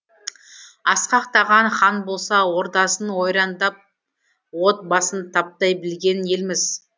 асқақтаған хан болса ордасын ойрандап от басын таптай білген елміз